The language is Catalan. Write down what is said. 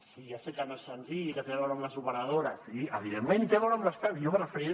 sí ja sé que no és senzill i que té a veure amb les operadores sí i evidentment té a veure amb l’estat i jo em referiré